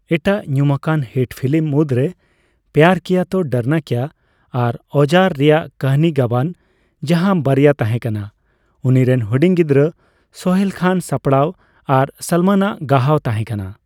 ᱮᱴᱟᱜ ᱧᱩᱢᱟᱠᱟᱱ hit film ᱨᱢᱩᱫᱽᱮ" ᱯᱭᱟᱨ ᱠᱤᱭᱟ ᱛᱳ ᱰᱚᱨᱱᱟ ᱠᱮᱭᱟ" ᱟᱨ "ᱟᱣᱡᱟᱨ" ᱨᱮᱭᱟᱜ ᱠᱟᱹᱦᱱᱤ ᱜᱟᱵᱟᱱ, ᱡᱟᱦᱟᱸ ᱵᱟᱨᱭᱟ ᱛᱟᱦᱮᱸᱠᱟᱱᱟ ᱩᱱᱤᱨᱮᱱ ᱦᱩᱰᱤᱧ ᱜᱤᱫᱽᱨᱟᱹ ᱥᱳᱦᱮᱞ ᱠᱷᱟᱱ ᱥᱟᱯᱲᱟᱣ ᱟᱨ ᱥᱚᱞᱢᱚᱱ ᱟᱜ ᱜᱟᱦᱟᱣ ᱛᱟᱦᱮᱸᱠᱟᱱᱟ ᱾